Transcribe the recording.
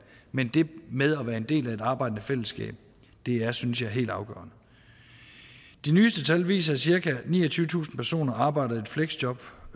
men det med at være en del af et arbejdende fællesskab er synes jeg helt afgørende de nyeste tal viser at cirka niogtyvetusind personer arbejder i et fleksjob